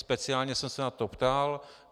Speciálně jsem se na to ptal.